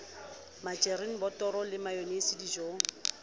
majerini botoro le mayonaise dijong